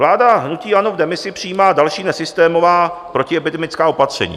Vláda hnutí ANO v demisi přijímá další nesystémová protiepidemická opatření.